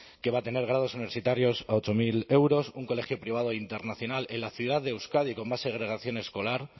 que va a tener grados universitarios a ocho mil euros un colegio privado internacional en la ciudad de euskadi con más segregación escolar